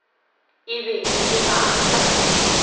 e be e le batho